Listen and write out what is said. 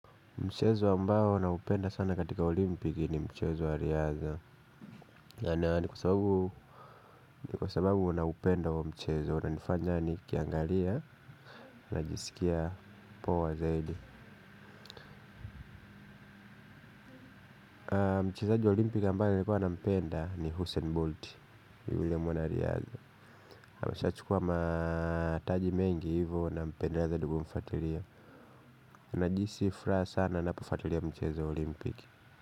Mchezo ambao naupenda sana katika olimpiki ni mchezo wa riadha. Kwa sababu naupenda huo mchezo, unanifanya nikiangalia najisikia poa zaidi. Mchezaji wa olimpiki ambaye nilikuwa nampenda ni Hussein Bolt yule mwanariadha. Ameshachukua mataji mengi hivo nampendea zaidi nilivyomfuatilia najihusi furaha sana napafuatilia mchezo wa olimpiki.